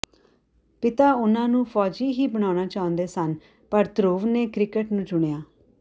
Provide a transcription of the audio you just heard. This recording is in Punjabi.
ਪਿਤਾ ਉਨ੍ਹਾਂ ਨੂੰ ਫ਼ੌਜੀ ਹੀ ਬਣਾਉਣਾ ਚਾਹੁੰਦੇ ਸਨ ਪਰ ਧਰੁਵ ਨੇ ਕ੍ਰਿਕਟ ਨੂੰ ਚੁਣਿਆ